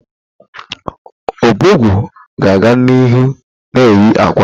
Ọbọgwụ ga-aga n'ihu na-eye ákwà.